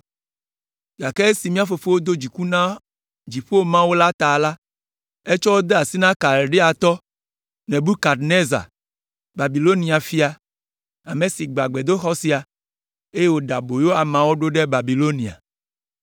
gake esi mía fofowo do dziku na dziƒo Mawu la ta la, etsɔ wo de asi na Kaldeatɔ Nebukadnezar, Babilonia fia, ame si gbã gbedoxɔ sia, eye wòɖe aboyo ameawo ɖo ɖe Babilonia.